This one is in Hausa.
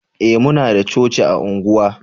eh muna da coci a unguwa